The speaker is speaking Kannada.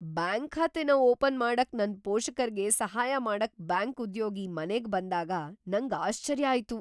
ಬ್ಯಾಂಕ್ ಖಾತೆನ ಓಪನ್ ಮಾಡಕ್ ನನ್ ಪೋಷಕರ್ಗೆ ಸಹಾಯ ಮಾಡಕ್ ಬ್ಯಾಂಕ್ ಉದ್ಯೋಗಿ ಮನೆಗೆ ಬಂದಾಗ್ ನಂಗ್ ಆಶ್ಚರ್ಯ ಆಯ್ತು.